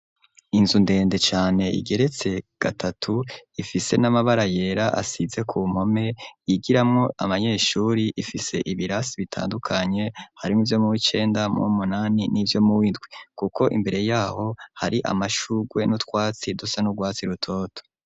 Inzu ndende cane igeretse gatatu ifise n'amabara yera asize ku mpome yigiramwo aba nyeshuri ifise ibirasi bitandukanye harimwoivyo mu w'icenda muwu, munani n'ivyo ,mu windwi kuko imbere yaho hari amashurwe n'utwatsi dusa n'urwatsi rutoto.